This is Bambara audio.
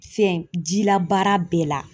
Fɛn jilabaara bɛɛ la.